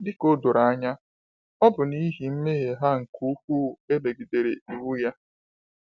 Dị ka o doro anya, ọ bụ n’ihi mmehie ha nke ukwuu emegidere iwu ya.